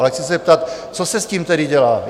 Ale chci se zeptat: Co se s tím tedy dělá?